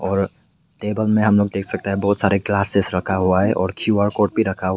और टेबल में हम लोग देख सकता है बहुत सारे ग्लासेस रखा हुआ है और क्यू आर कोड भी रखा हुआ है।